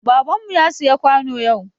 Baban mu ya siya kwano yau.